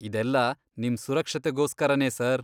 ಇದೆಲ್ಲ ನಿಮ್ ಸುರಕ್ಷತೆಗೋಸ್ಕರನೇ ಸರ್.